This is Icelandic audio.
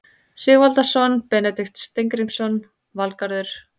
Sigvaldason, Benedikt Steingrímsson, Valgarður